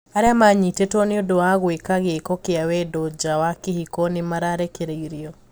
Aria manyitetwo niũndũ wa gũika giiko kia wendo njaa wa kihiko nimarekereirio.